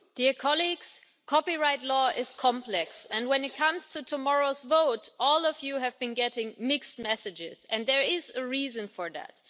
Mr President, copyright law is complex and, when it comes to tomorrow's vote, all of you have been getting mixed messages, and there is a reason for that.